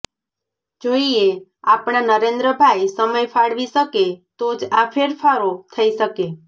જોઈએ આપણા નરેન્દ્રભાઈ સમય ફાળવી શકે તો જ આ ફેરફારો થઇ શકે